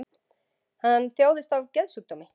Hann þjáist af geðsjúkdómi